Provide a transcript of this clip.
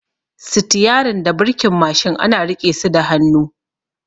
Sitiyarin da birkin Mashin ana riƙe su da hannu